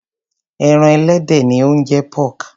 Ẹran ẹlẹdẹ ni ó ń jẹ́ pork.